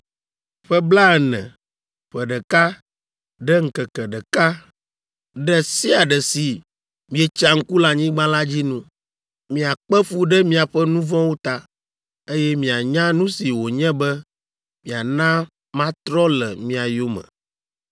Ƒe blaene, ƒe ɖeka ɖe ŋkeke ɖeka ɖe sia ɖe si mietsa ŋku le anyigba la dzi nu, miakpe fu ɖe miaƒe nu vɔ̃wo ta, eye mianya nu si wònye be miana matrɔ le mia yome.’